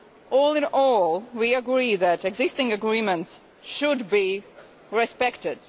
All in all, we agree that existing agreements should be respected.